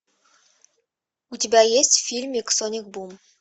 у тебя есть фильмик соник бум